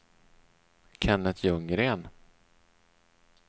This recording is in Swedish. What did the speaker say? Kenneth Ljunggren